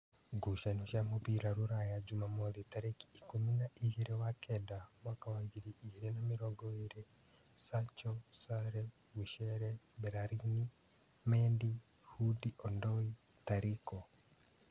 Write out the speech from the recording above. Ngucanio cia mũbira Rūraya Jumamothi tarĩki ikũmi na igĩrĩ wa kenda mwaka wa ngiri igĩrĩ na mĩrongo ĩrĩ: Sacho, Sare, Wichere, Mberarini, Mendi, Hundi-Ondoi, Tariko.